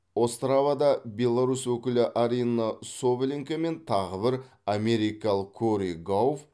остравада беларусь өкілі арина соболенко мен тағы бір америкалық кори гауфф